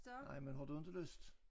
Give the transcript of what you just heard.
Nej men har du inte lyst?